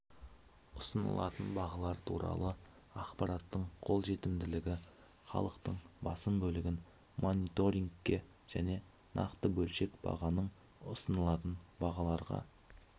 ұсынылатын бағалар туралы ақпараттың қолжетімділігі халықтың басым бөлігін мониторингке және нақты бөлшек бағаның ұсынылатын бағаларға